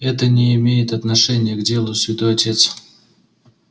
это не имеет отношения к делу святой отец